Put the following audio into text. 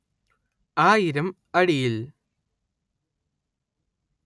ആയിരം അടിയിൽ